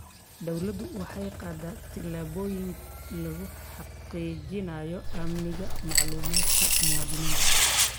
Dawladdu waxay qaaddaa tillaabooyin lagu xaqiijinayo amniga macluumaadka muwaadiniinta.